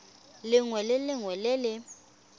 lengwe le lengwe le le